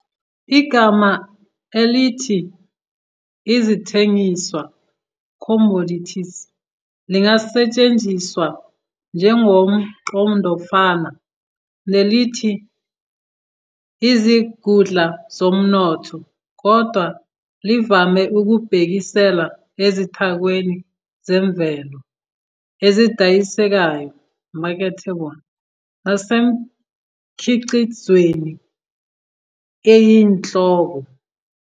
Igama elithi Izithengiswa "Commodities" lingasetshenziswa njengomqondofana nelithi izingudla zomnotho, kodwa livame ukubhekisela ezithakweni zemvelo ezidayisekayo "marketable" nasemikhiqizweni eyinhloko.